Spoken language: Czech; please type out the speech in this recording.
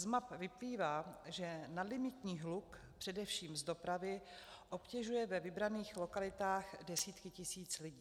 Z map vyplývá, že nadlimitní hluk především z dopravy obtěžuje ve vybraných lokalitách desítky tisíc lidí.